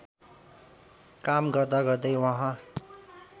काम गर्दागर्दै वहाँ